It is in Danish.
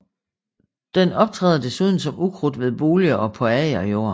Den optræder desuden som ukrudt ved boliger og på agerjord